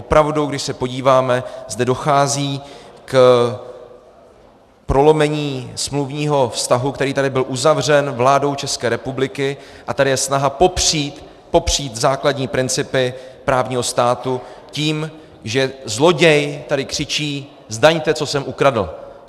Opravdu, když se podíváme, zde dochází k prolomení smluvního vztahu, který tady byl uzavřen vládou České republiky, a tady je snaha popřít základní principy právního státu tím, že zloděj tady křičí: Zdaňte, co jsem ukradl!